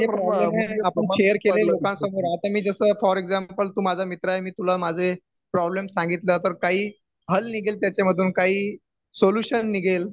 आपण शेअर केलंय लोकांसमोर आता मी जसं फॉर एक्सांपल तू माझा मित्र आहे मी तुला माझे प्रॉब्लेम्स सांगितलं तर काही हल निघेल त्यांच्यामधून काही सोल्युशन निघेल